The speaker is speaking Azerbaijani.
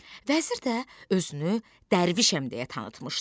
Vəzir də özünü Dərvişəm deyə tanıtmışdı.